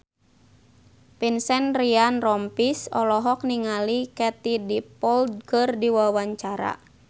Vincent Ryan Rompies olohok ningali Katie Dippold keur diwawancara